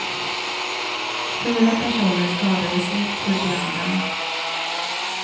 Fyra personer skadades lätt vid branden.